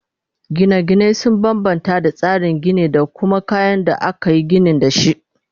Gina gine sun banbanta da tsarin Gini da kuma kayan da akayi ginin dashi